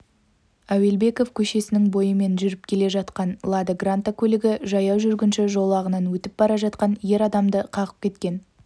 әуелбеков көшесінің бойымен жүріп келе жатқан лада гранта көлігі жаяу жүргінші жолағынан өтіп бара жатқан ер адамды қағып кеткен